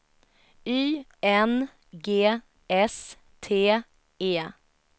Y N G S T E